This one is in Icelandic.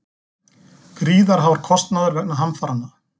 Gríðarhár kostnaður vegna hamfaranna